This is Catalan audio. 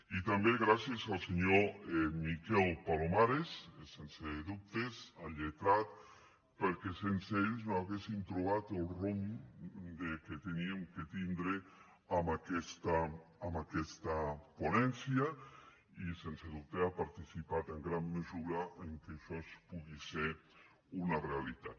i també gràcies al senyor miquel palomares sense dubtes el lletrat perquè sense ell no haguéssim trobat el rumb que havíem de tindre en aquesta ponència i sens dubte ha participat en gran mesura que això pugui ser una realitat